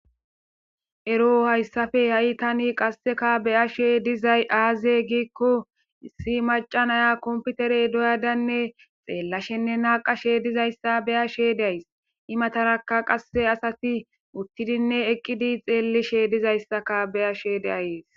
Ero hayissappe tani be'she dizzayi azze gikko macca naya comppitere doyadda xelkashenne naqqashe dizayissa beyashe de'ayisi i mattaraka qase asati uttidinne eqqidi xellishe dizzayissakka beyashe de'ayissi.